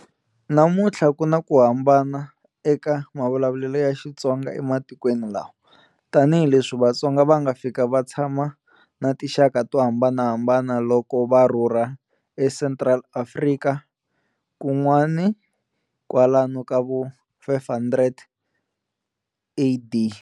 Namuntlha ku na ku hambana eka mavulavulelo ya Xitsonga ematikweni lawa, tani hi leswi Vatsonga va nga fika va tshama na tinxaka to hambanahambana loko va rhurha e Central Afrika kun'wani kwalano kavo 500AD.